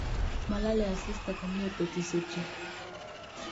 Molole asista komie betushechu.